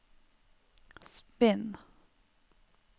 spinn